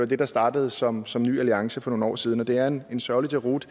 det der startede som som ny alliance for nogle år siden det er en sørgelig deroute